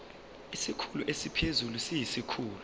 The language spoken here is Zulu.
isikhulu esiphezulu siyisikhulu